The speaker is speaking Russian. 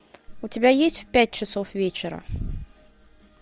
у тебя есть в пять часов вечера